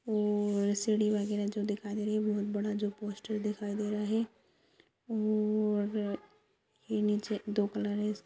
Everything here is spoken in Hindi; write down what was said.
और सीढ़ी वगैरह जो दिखाई दे रही है बहुत बड़ा जो पोस्टर दिखाई दे रहा है और र र ये नीचे दो कलर है --